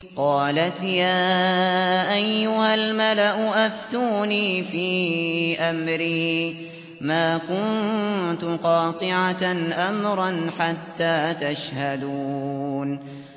قَالَتْ يَا أَيُّهَا الْمَلَأُ أَفْتُونِي فِي أَمْرِي مَا كُنتُ قَاطِعَةً أَمْرًا حَتَّىٰ تَشْهَدُونِ